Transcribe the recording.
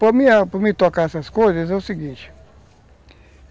Para me tocar essas coisas é o seguinte.